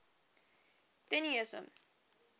theunissen